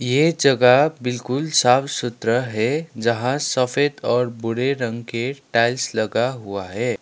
ये जगह बिल्कुल साफ सुथरा है जहां सफेद और भूरे रंग के टाइल्स लगा हुआ है।